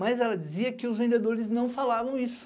Mas ela dizia que os vendedores não falavam isso.